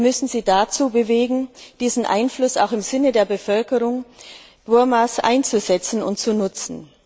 Wir müssen sie dazu bewegen, diesen Einfluss auch im Sinne der Bevölkerung Burmas einzusetzen und zu nutzen.